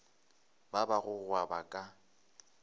ba ba go gweba ka